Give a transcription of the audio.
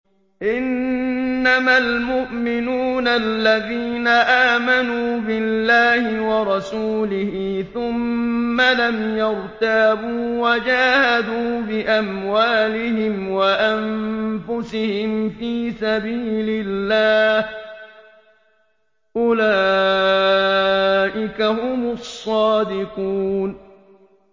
إِنَّمَا الْمُؤْمِنُونَ الَّذِينَ آمَنُوا بِاللَّهِ وَرَسُولِهِ ثُمَّ لَمْ يَرْتَابُوا وَجَاهَدُوا بِأَمْوَالِهِمْ وَأَنفُسِهِمْ فِي سَبِيلِ اللَّهِ ۚ أُولَٰئِكَ هُمُ الصَّادِقُونَ